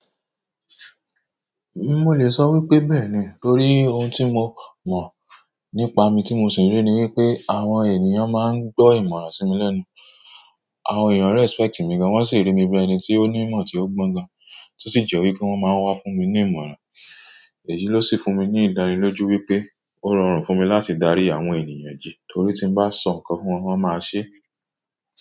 Mí, mo lè sọ wípé bẹ́ẹ̀ ni. Torí ohun tí mo mo nípa mi tí mo sì ri ni wípé àwọn ènìyàn máa ń gbọ́ ìmọ̀ràn sí mi lẹ́nu. Àwọn ènìyàn respect mi gan, wọ́n sì rí mi bí i ẹni tí ó ní ìmọ̀ tí ó gbọ́ gan, tí ó sì jẹ́ wípé wọ́n máa ń wá fún mi ní ìmọ̀ràn. Èyí ló sì fún mi ní ìdání lójú wípé ó rọrùn fún mi láti darí àwọn ènìyàn jẹ torí tí ń bá sọ ǹkan fún wọn, wọ́n máa ṣe é.